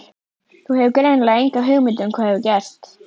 Þú hefur greinilega enga hugmynd um hvað hefur gerst.